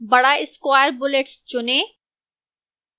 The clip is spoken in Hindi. बड़ा square bullets चुनें